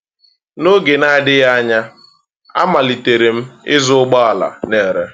N’oge nadịghị anya, amalitere m ịzụ ụgbọala na-ere.